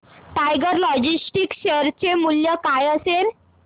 tiger Logistics share चे मूल्य काय असेल